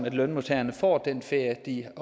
at lønmodtagerne får den ferie